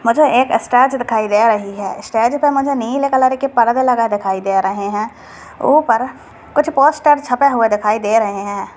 मुझे एक स्टेज दिखाई दे रही है स्टेज पे मुझे नीले कलर के परदे लगे दिखाई दे रहे हैं ऊपर कुछ पोस्टर छपे हुए दिखाई दे रहे हैं।